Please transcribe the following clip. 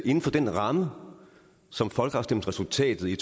inden for den ramme som folkeafstemningsresultatet i